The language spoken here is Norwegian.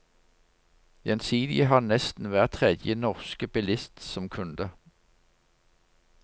Gjensidige har nesten hver tredje norske bilist som kunde.